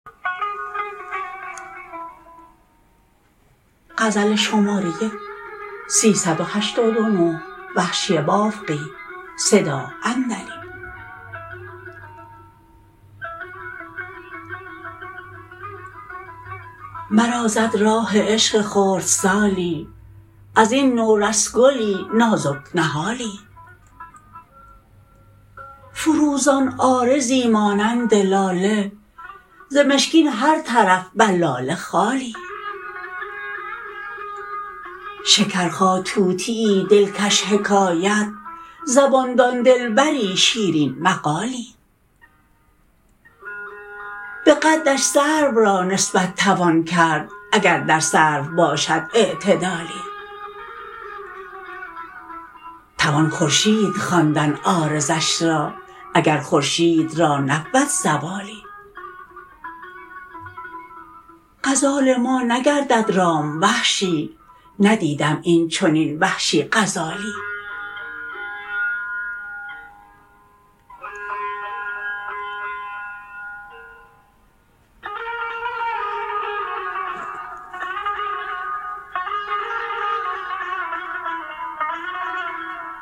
مرا زد راه عشق خردسالی از این نورس گلی نازک نهالی فروزان عارضی مانند لاله ز مشکین هر طرف بر لاله خالی شکرخا طوطیی دلکش حکایت زبان دان دلبری شیرین مقالی به قدش سرو را نسبت توان کرد اگر در سرو باشد اعتدالی توان خورشید خواندن عارضش را اگرخورشید را نبود زوالی غزال ما نگردد رام وحشی ندیدم این چنین وحشی غزالی